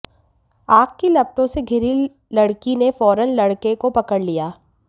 आग की लपटों से घिरी लड़की ने फौरन लड़के को पकड़ लिया